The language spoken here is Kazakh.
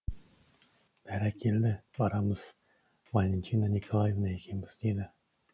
бәрекелді барамыз валентина николаевна екеуміз деді